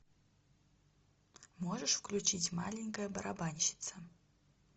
можешь включить маленькая барабанщица